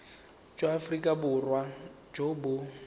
jwa aforika borwa jo bo